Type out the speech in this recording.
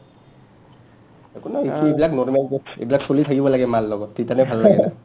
একো নাই কিনো এইবিলাক normal চলি থাকিব লাগে মাৰ লগত তিতানহে ভাল লাগে